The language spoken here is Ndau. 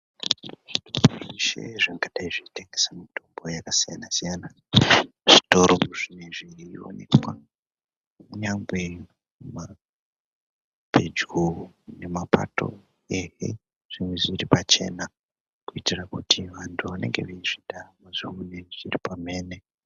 ...zveshe zvingadai zveitengesa mitombo yakasiyana-siyana zvitoro zvinee zveioneka kunyangwa pedyo nemapato zvinge zviri pachena kuitira kuti vantu vanenge veizvida vazvione zviri pamhene.